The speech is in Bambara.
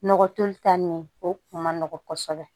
Nɔgɔ toli ta nin o kun man nɔgɔn kosɛbɛ